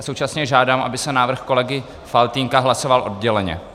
A současně žádám, aby se návrh kolegy Faltýnka hlasoval odděleně.